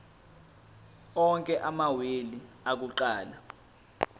onke amawili akuqala